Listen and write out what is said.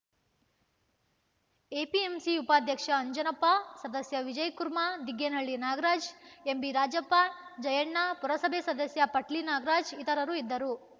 APMC ಉಪಾಧ್ಯಕ್ಷ ಅಂಜನಪ್ಪ ಸದಸ್ಯ ವಿಜಯಕುಮಾರ್‌ ದಿಗ್ಗೇನಹಳ್ಳಿ ನಾಗರಾಜ್‌ ಎಂಬಿರಾಜಪ್ಪ ಜಯ್ಯಣ್ಣ ಪುರಸಭೆ ಸದಸ್ಯ ಪಟ್ಲಿ ನಾಗರಾಜ್‌ ಇತರರು ಇದ್ದರು